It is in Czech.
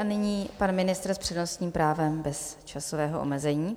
A nyní pan ministr s přednostním právem bez časového omezení.